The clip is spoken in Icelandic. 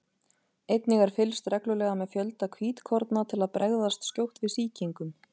einnig er fylgst reglulega með fjölda hvítkorna til að bregðast skjótt við sýkingum